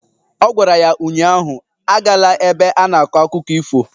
Ọ gwara ya ụnyaahụ "Agala ebe a na-akọ akụkọ ifo"